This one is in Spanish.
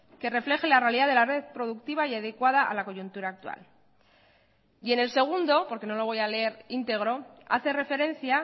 que refleje la realidad de la red productiva y adecuada a la coyuntura actual y en el segundo por que no lo voy a leer íntegro hace referencia